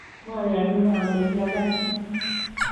mayani ale kiakasin